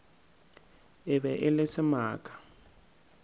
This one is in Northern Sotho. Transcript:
e be e le semaka